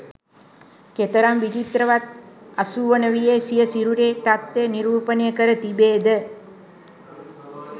කෙතරම් විචිත්‍රවත්ව අසූවන වියේ සිය සිරුරේ තත්ත්වය නිරූපණය කර තිබේද?